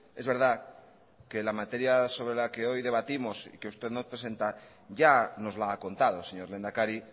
es verdad que la materia sobre la que hoy debatimos y que usted nos presenta ya nos la ha contado señor lehendakari